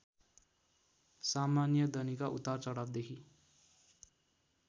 सामान्यदनीका उतार चढावदेखि